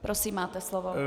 Prosím, máte slovo.